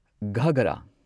ꯘꯥꯒꯔꯥ